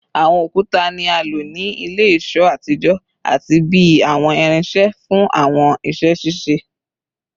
Awọn okuta ni a lo ni ile-iṣọ atijọ ati bi awọn irinṣẹ fun awọn iṣẹ ṣiṣe